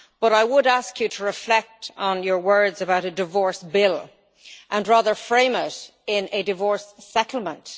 I would ask you to reflect on your words about a divorce bill and, rather, frame it as a divorce settlement.